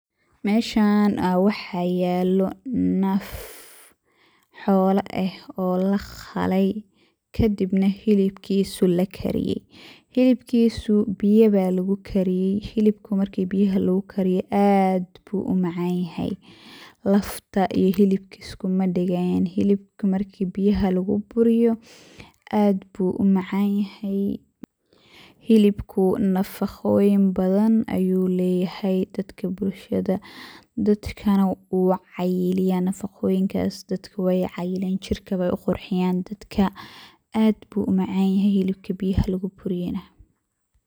Meeshan aya wax yalo naf xoolo eh oo laqaley kadibna hilibkisu lakariyey. Hilibkisu biyo aya lugukariyey, hilibka marki biyo lugukariyo aad ayu umacan yahay lafta iyo hilibka iskumadagayan, hilibka marki biyaha luguburiyo aad ayu umacan yahay. Hilibku nafaqoyin badan ayu leyahay dadkana nafaqoyinnkas wey cayiliyan jirka ayey uqurxiyan dadka aad ayu umacan yahay hilibka luguburiyey biyaha.